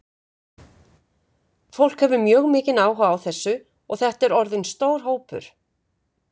Fólk hefur mjög mikinn áhuga á þessu og þetta er orðinn stór hópur?